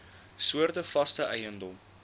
soorte vaste eiendom